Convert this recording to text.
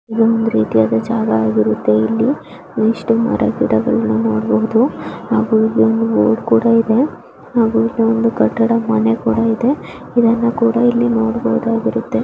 ಇದು ಒಂದು ರೀತಿಯ ಜಾಗ ಆಗಿರುತ್ತೆ ಇಲ್ಲಿ ಒಂದಿಷ್ಟು ಮರ ಗಿಡಗಳನ್ನು ನೋಡಬಹುದು ಹಾಗಿ ಇಲ್ಲಿ ರೋಡ್ ಕೂಡ ಇದೆ. ಹಾಗೆ ಒಂದು ಕಟ್ಟಡ ಮನೆ ಕೂಡ ಇದೆ ಹಾಗೂ ಇದನ್ನು ಕೂಡ ನೋಡಬಹುದು.